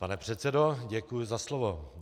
Pane předsedo, děkuji za slovo.